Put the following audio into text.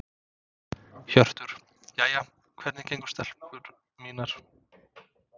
Hjörtur: Jæja, hvernig gengur stelpur mínar?